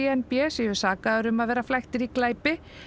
n b séu sakaðir um að vera flæktir í glæpi